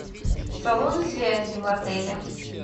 салоны связи в отеле